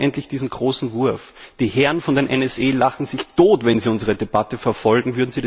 Wir brauchen endlich diesen großen Wurf. Die Herren von der NSA lachen sich tot, wenn sie unsere Debatte verfolgen.